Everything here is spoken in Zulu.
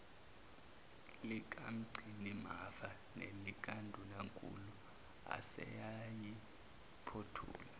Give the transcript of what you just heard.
likamgcinimafa nelikandunankulu aseyayiphothula